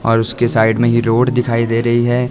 और उसके साइड में ये रोड दिखाई दे रही है।